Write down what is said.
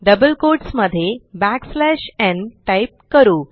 double quotes मध्ये backslash nटाईप करू